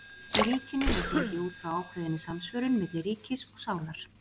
í ríkinu er gengið út frá ákveðinni samsvörun milli ríkis og sálar